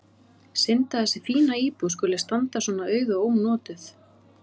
Synd að þessi fína íbúð skuli standa svona auð og ónotuð.